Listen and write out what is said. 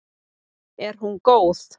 Er hún góð?